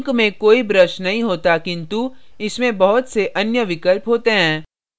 ink में कोई brush नहीं होता किन्तु इसमें बहुत से अन्य विकल्प होते हैं